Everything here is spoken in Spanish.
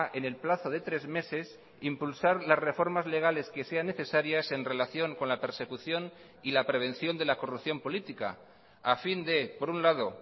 en el plazo de tres meses impulsar las reformas legales que sean necesarias en relación con la persecución y la prevención de la corrupción política a fin de por un lado